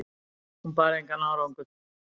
Hún bar engan árangur